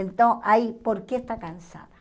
Então, aí por que está cansada?